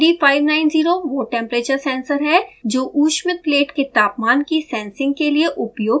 ad590 वो temperature sensor है जो ऊष्मित प्लेट के तापमान की सेंसिंग के लिए उपयोग किया जाता है